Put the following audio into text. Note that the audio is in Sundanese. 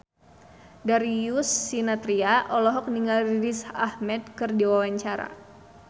Darius Sinathrya olohok ningali Riz Ahmed keur diwawancara